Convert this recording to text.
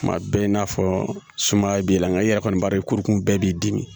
Tuma bɛɛ i n'a fɔ sumaya b'i la nka i yɛrɛ kɔni b'a ye kurukun bɛɛ b'i dimi